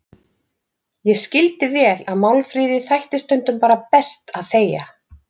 Ég skildi vel að Málfríði þætti stundum bara best að þegja.